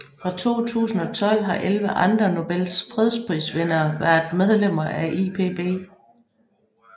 Fra 2012 har elleve andre Nobels fredsprisvindere været medlemmer af IPB